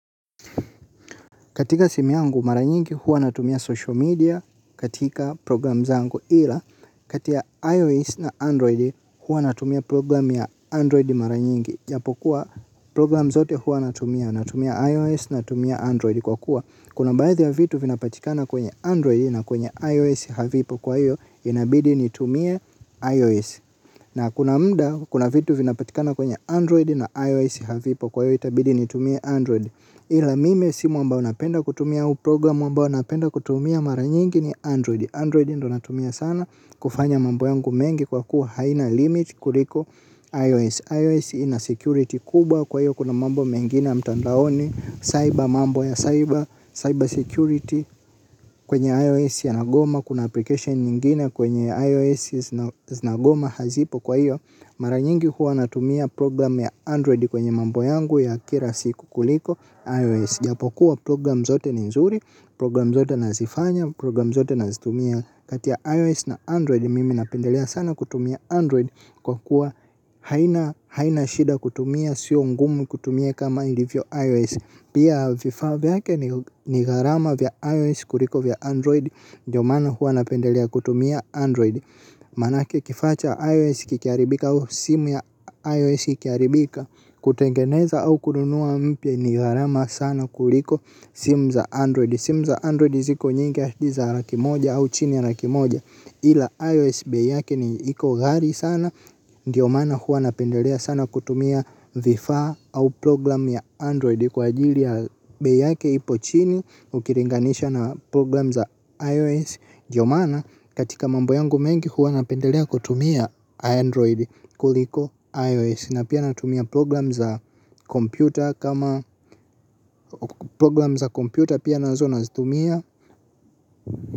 Katika simu yangu mara nyingi huwa natumia social media katika programu zangu, ila kati ya iOS na Android huwa natumia program ya Android mara nyingi japo kuwa program zote huwa natumia, natumia iOS natumia Android kwa kuwa kuna baadhi ya vitu vinapatikana kwenye Android na kwenye iOS havipo kwa hivyo inabidi nitumie iOS. Na kuna muda kuna vitu vinapatikana kwenye Android na iOS havipo kwa hivyo itabidi nitumie Android. Ila mimi simu ambao napenda kutumia au programu ambao napenda kutumia mara nyingi ni Android. Android ndio natumia sana kufanya mambo yangu mengi kwa kuwa haina limit kuliko iOS iOS. iOS ina security kubwa kwa hivyo kuna mambo mengine ya mtandaoni. Cyber mambo ya cyber, cyber security kwenye iOS yanagoma. Kuna application nyingine kwenye iOS nagoma hazipo kwa hivyo, mara nyingi huwa natumia program ya Android kwenye mambo yangu ya kila siku kuliko IOS, japo kuwa program zote ni nzuri, program zote nazifanya, program zote nazitumia. Kati ya iOS na Android, mimi napendelea sana kutumia Android. Kwa kuwa haina haina shida kutumia, sio ngumu kutumia kama ilivyo IOS. Pia vifaa vyake ni gharama vya IOS kuliko vya Android. Ndiyo maana huwa napendelea kutumia Android, manake kifaa cha IOS kikiaribika au simu ya iOS ikiharibika, kutengeneza au kununua mpya ni gharama sana kuliko simu za Android. Simu za Android ziko nyingi zaidi ya laki moja au chini ya laki moja ila iOS bei yake iko ghali sana ndiyo maana huwa napendelea sana kutumia vifaa au program ya Android, kwa ajili ya bei yake ipo chini ukilinganisha na program za IOS. Ndiyo maana katika mambo yangu mengi huwa napendelea kutumia Android kuliko IOS. Na pia natumia program za kompyuta kama program za kompyuta pia nazo nazitumia.